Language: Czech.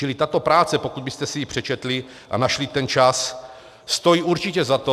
Čili tato práce, pokud byste si ji přečetli a našli ten čas, stojí určitě za to.